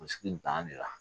Sigi nin t'an de la